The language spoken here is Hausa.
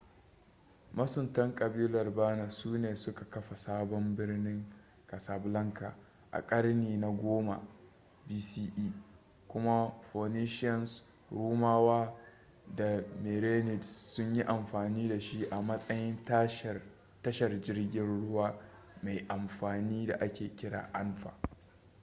masuntan ƙabilar berner su ne suka kafa sabon birnin casablanca a karni na 10 bce kuma phoenicians rumawa da merenids sun yi amfani da shi a matsayin tashar jirgin ruwa mai amfani da ake kira anfa